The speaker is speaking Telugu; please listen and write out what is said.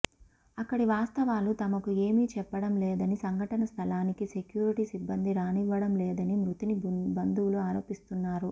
అక్కడి వాస్తవాలు తమకు ఏమి చెప్పడం లేదని సంఘటన స్థలానికి సెక్యూరిటీ సిబ్బంది రానివ్వడం లేదని మృతుని బంధువులు ఆరోపిస్తున్నారు